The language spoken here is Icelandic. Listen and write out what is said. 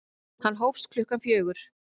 Hann hófst klukkan fjögur.